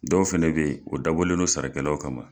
Dɔw fɛnɛ bɛ ye o dabɔlen do sara kɛlaw kama.